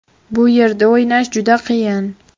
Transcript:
Bu yerda o‘ynash juda qiyin.